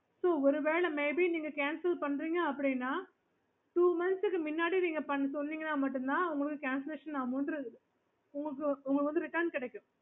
அப்புறம் ஒரு வேல நீங்க cancel பண்றீங்க அப்டின்னா two months க்கு முன்னாடி நீங்க சொன்னீங்கன்னா மட்டும் தான் உங்களுக்கு cancellation amount உங்களுக்கு return கிடைக்கும்